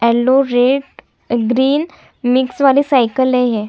Yellow red green mix वाली साइकिले है।